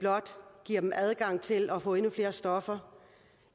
giver dem blot adgang til at få endnu flere stoffer